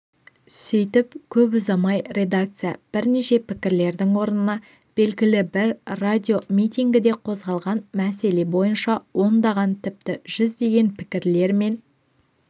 сөйтіп көп ұзамай редакция бірнеше пікірлердің орнына белгілі бір радиомитингіде қозғалған мәселе бойынша ондаған тіпті жүздеген пікірлер мен